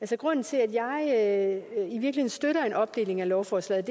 grunden til at jeg støtter en opdeling af lovforslaget